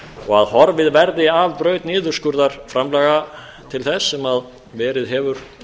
og að horfið verið af braut niðurskurðar framlaga til þess sem verið hefur